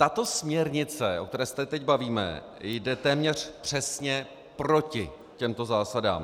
Tato směrnice, o které se teď bavíme, jde téměř přesně proti těmto zásadám.